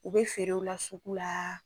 U be feerew u la suku la